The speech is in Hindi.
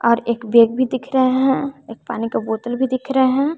और एक बैग भी दिख रहे हैं एक पानी का बोतल भी दिख रहे हैं।